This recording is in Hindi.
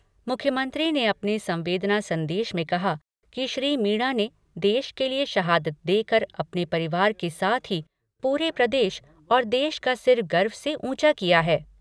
मुख्यमंत्री ने अपने संवेदना संदेश में कहा कि श्री मीणा ने देश के लिए शहादत देकर अपने परिवार के साथ ही पूरे प्रदेश और देश का सिर गर्व से ऊंचा किया है।